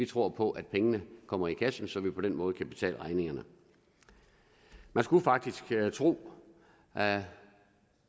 tror på at pengene kommer i kassen så vi på den måde kan betale regningerne man skulle faktisk tro at